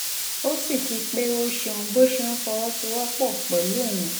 ó sì kí i pé ó ṣeun bó ṣe ń fọwọ́sowọ́pọ̀ pẹ̀lú òun